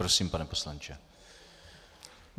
Prosím, pane poslanče.